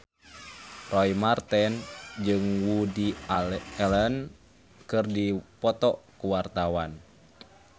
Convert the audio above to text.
Roy Marten jeung Woody Allen keur dipoto ku wartawan